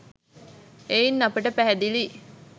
එයින් අපට පැහැදිලියි